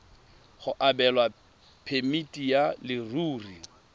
go abelwa phemiti ya leruri